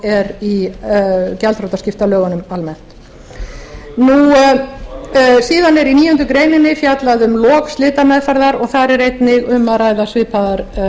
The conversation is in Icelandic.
er í gjaldþrotaskiptalögunum almennt síðan er í níundu grein fjallað um lok slitameðferðar og þar er einnig um að ræða svipaðar